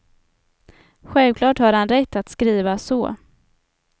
Självklart har han rätt att skriva så.